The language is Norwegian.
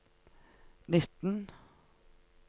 nitten